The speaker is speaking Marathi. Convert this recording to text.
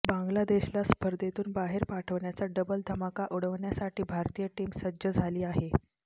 बांग्लादेशला स्पर्धेतून बाहेर पाठवण्याचा डबल धमाका उडवण्यासाठी भारतीय टीम सज्ज झाली आहे